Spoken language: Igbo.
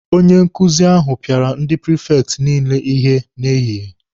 Onye nkuzi ahụ pịara ndị prifekti niile ihe n'ehihie.